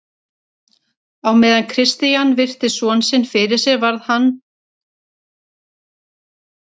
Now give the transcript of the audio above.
Á meðan Christian virti son sinn fyrir sér varð hann var við umgang í húsinu.